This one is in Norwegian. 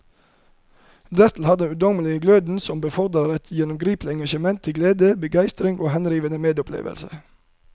Dertil har han den ungdommelige gløden som befordrer et gjennomgripende engasjement til glede, begeistring og henrivende medopplevelse.